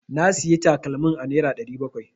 Na Siya takalman a nera ɗari bakwai.